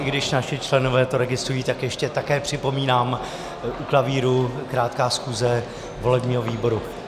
I když naši členové to registrují, tak ještě také připomínám, u klavíru krátká schůze volebního výboru.